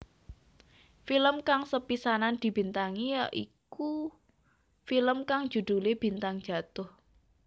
Film kang sepisanan dibintangi yaiki film kang judhulé Bintang Jatuh